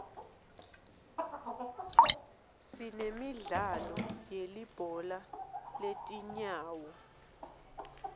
sinemidlalo yelibhola letinyawo